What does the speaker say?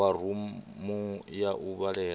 wa rumu ya u vhalela